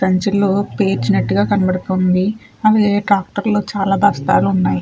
పేర్చిన్నట్టుగ కనబడుతుంది అవి ట్రాక్టర్ లో చాలా బస్తాలున్నాయి.